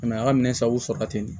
a ka minɛn sago sɔrɔ la ten de